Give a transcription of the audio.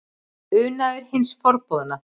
Unaður hins forboðna?